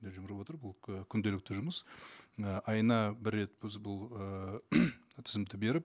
жүгіріп отырып бұл күнделікті жұмыс і айына бір рет біз бұл ыыы тізімді беріп